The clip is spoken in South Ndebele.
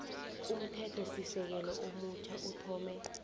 umthethosisekelo omutjha uthome